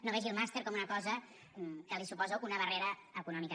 no vegi el màster com una cosa que li suposa una barrera econòmica